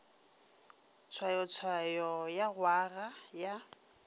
tshwayotshwayo ya go aga ya